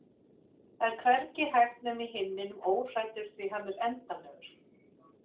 Það er hvergi hægt nema í himninum óhræddur því hann er endanlegur